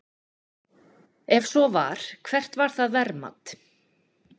Ef svo var, hvert var það verðmat?